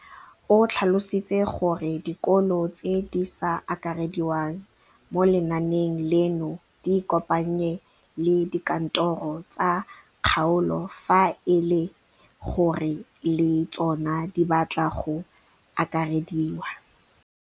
O tlhalositse gore dikolo tse di sa akarediwang mo lenaaneng leno di ikopanye le dikantoro tsa kgaolo fa e le gore le tsona di batla go akarediwa.